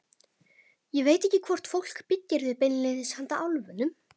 Ég veit ekki hvort fólk byggir þau beinlínis handa álfunum.